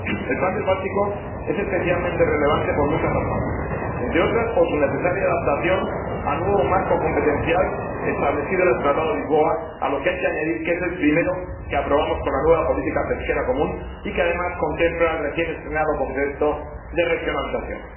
Señora Presidenta, querido Comisario, el plan del Báltico es especialmente relevante por muchas razones, entre otras, por su necesaria adaptación a un nuevo marco competencial establecido en el Tratado de Lisboa, a lo que hay que añadir que es el primero que aprobamos con la nueva política pesquera común y que, además, contempla el recién estrenado concepto de regionalización.